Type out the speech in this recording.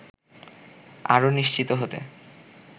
আরও নিশ্চিত হতে